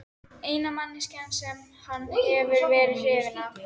Eina manneskjan sem hann hefur verið hrifinn af.